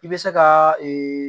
I bɛ se ka ee